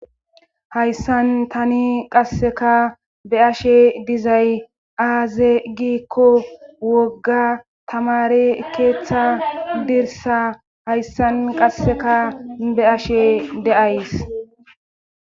Hayssan tani qasseka be ashe dizay aaze giikko wogga tamare keeththa dirsa hayssan qasseka be ashe de'ays.